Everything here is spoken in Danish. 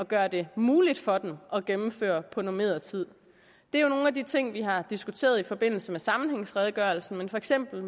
gøre det muligt for dem at gennemføre på normeret tid det er nogle af de ting vi har diskuteret i forbindelse med sammenhængsredegørelsen for eksempel